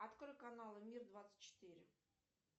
открой канал мир двадцать четыре